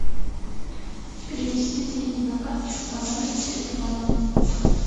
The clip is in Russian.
перевести деньги на карточку по номеру телефона